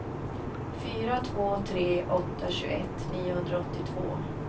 fyra två tre åtta tjugoett niohundraåttiotvå